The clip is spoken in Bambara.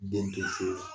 Den te furu la